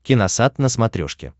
киносат на смотрешке